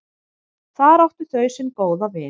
Þar áttu þau sinn góða vin.